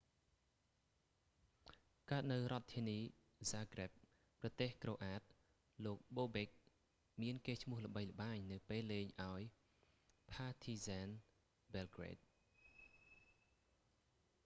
កើតនៅរដ្ឋធានីហ្សាហ្គ្រិប zagreb ប្រទេសក្រូអាត croatia លោកបូបិក bobek មានកេរ្តិ៍ឈ្មោះល្បីល្បាញនៅពេលលេងឱ្យផាធីហ្ស៊ែន ប៊ែលហ្គ្រេត partizan belgrade